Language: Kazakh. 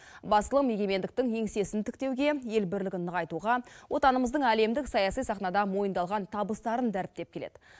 басылым егемендіктің еңсесін тіктеуге ел бірлігін нығайтуға отанымыздың әлемдік саяси сахнада мойындалған табыстарын дәріптеп келеді